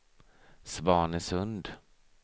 Svanesund